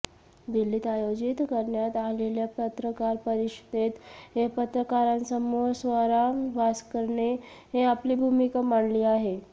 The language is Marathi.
दिल्लीत आयोजित करण्यात आलेल्या पत्रकार परिषदेत पत्रकारांसमोर स्वरा भास्करने आपली भूमिका मांडली आहे